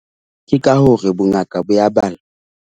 Ke ka hore bongaka bo a .